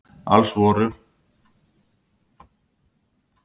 Alls voru